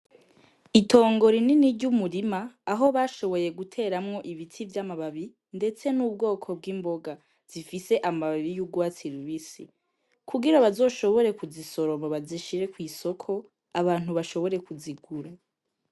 Itongore inini ry'umurima aho bashoboye guteramwo ibiti vy'amababi, ndetse n'ubwoko bw'imboga zifise amababi y'ugwatsilubisi kugira bazoshobore kuzisoromo bazishire kw'isoko abantu bashobore kuzigura.